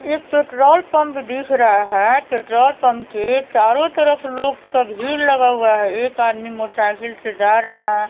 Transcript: एक petrol pump दिख रहा है पेट्रोल पंप के चारों तरफ लोग्स का भीड़ लगा हुआ है एक आदमी मोटरसाइकिल से जा रहा है।